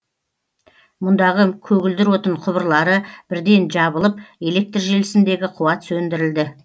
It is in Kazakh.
мұндағы көгілдір отын құбырлары бірден жабылып электр желісіндегі қуат сөндірілді